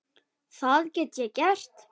Það get ég gert.